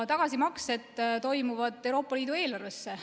Tagasimaksed toimuvad Euroopa Liidu eelarvesse.